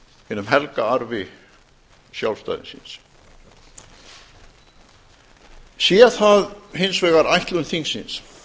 hinum helga arfi sjálfstæðisins sé hins vegar ætlun þingsins